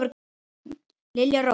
Lilja Rós.